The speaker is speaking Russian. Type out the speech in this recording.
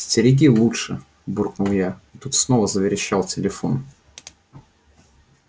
стереги лучше буркнул я и тут снова заверещал телефон